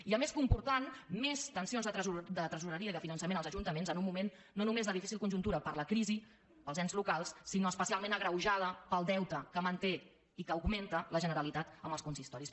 i a més comportant més tensions de tresoreria i de finançament als ajuntaments en un moment no només de difícil conjuntura per la crisi als ens locals sinó especialment agreujada pel deute que manté i que augmenta la generalitat amb els consistoris